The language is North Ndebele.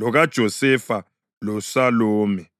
lokaJosefa loSalome.